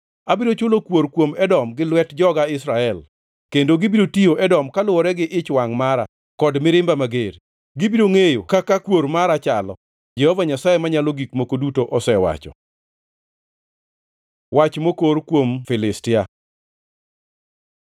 Abiro chulo kuor kuom Edom gi lwet joga Israel, kendo gibiro tiyo Edom kaluwore gi ich wangʼ mara kod mirimba mager; gibiro ngʼeyo kaka kuor mara chalo, Jehova Nyasaye Manyalo Gik Moko Duto osewacho.’ ” Wach mokor kuom Filistia